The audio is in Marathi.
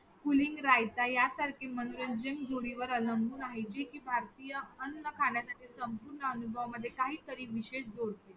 Pudding, raita यासारखे मनोरंजन गोडीवर अवलंबून आहे जी कि भारतीय अन्न खाण्यासाठी संपूर्ण अनुभवांमध्ये काहीतरी विशेष जोडते.